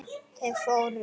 Þeir fóru.